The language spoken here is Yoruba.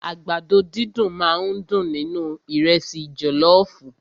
Àgbàdo dídùn máà ń dùn nínú ìrẹ́sì jọlọọfu.